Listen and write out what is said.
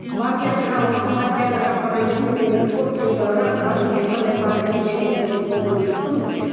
партиясы партияны жапқаннан кейін мен көп жылдары ешқандай партияның мүшесі болған жоқпын